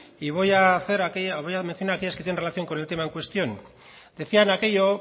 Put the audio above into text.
y voy a mencionar aquellas que tengan relación con el tema en cuestión decían aquello